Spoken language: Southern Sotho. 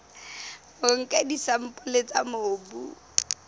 o nka disampole tsa mobu